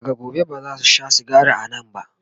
daga gobe bazasu Sha sigari a Nan ba